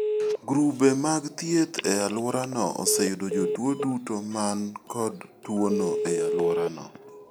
Grube mag thieth e alworano oseyudo jotuo duto man kod tuono e alworano.